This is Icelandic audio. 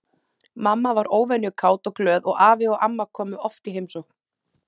Mamma var óvenju kát og glöð og afi og amma komu oft í heimsókn.